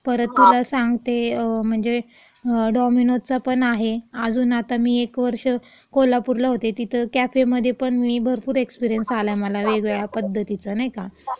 परत तुला सांगते, म्हणजे अ डॉमिनोजचा पण आहे. अजून आता मी एक वर्ष कोल्हापूरला होते, तिथं कॅफेमध्ये पण मी भरपूर एक्सपिरीयन्स आला मला वेगळ्या पद्धतीचा, नाही का. म्हणजे वेगवेगळे प्रॉडक्ट तयार करायचा वगैरे.